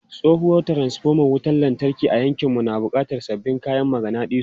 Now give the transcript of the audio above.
Tsohuwar transfoma wutar lantarki a yankinmu na buƙatar sabbin kayan maganadisu.